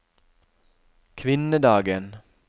kvinnedagen